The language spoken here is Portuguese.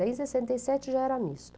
Daí, sessenta e sete já era misto.